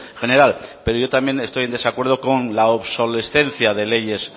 general pero yo también estoy en desacuerdo con la obsolescencia de leyes